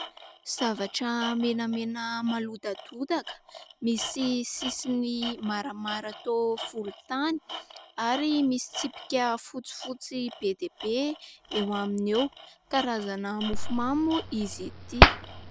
Zavatra menamena malodadodaka, misy sisiny maramara toa volontany ary misy tsipika fotsifotsy be dia be eo aminy eo, karazana mofo mamy moa izy ity.